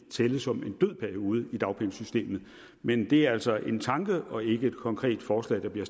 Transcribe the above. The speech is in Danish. tælle som en død periode i dagpengesystemet men det er altså en tanke og ikke et konkret forslag der bliver